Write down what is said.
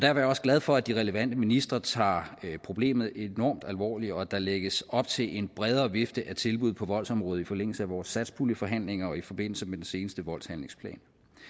er jeg også glad for at de relevante ministre tager problemet enormt alvorligt og at der lægges op til en bredere vifte af tilbud på voldsområdet i forlængelse af vores satspuljeforhandlinger og i forbindelse med den seneste voldshandlingsplan